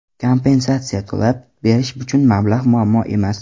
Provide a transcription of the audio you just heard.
Kompensatsiya to‘lab berish uchun mablag‘ muammo emas.